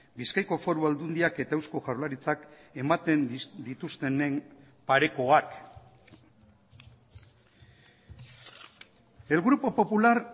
bizkaiko foru aldundiak eta eusko jaurlaritzak ematen dituztenen parekoak el grupo popular